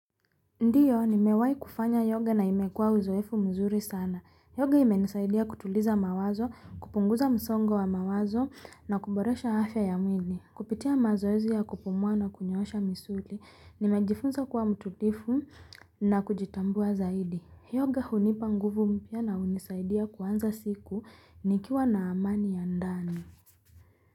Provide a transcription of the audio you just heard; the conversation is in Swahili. Ndiyo nimewahi kufanya yoga na imekuwa uzoefu mzuri sana. Yoga imenisaidia kutuliza mawazo, kupunguza msongo wa mawazo na kuboresha afya ya mwili. Kupitia mazoezi ya kupumua na kunyoosha misuli, nimejifunza kuwa mtulifu na kujitambua zaidi. Yoga hunipa nguvu mpya na hunisaidia kuanza siku nikiwa na amani ya ndani.